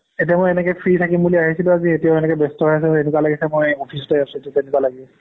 এতিয়া এনেকে free থাকিম বুলি আহিছিলো আজি এতিয়াও এনেকে ব্যস্ত হৈ আছো এনেকুৱা লাগিছে মই office তেই আছোঁ তেনেকুৱা লাগি আছে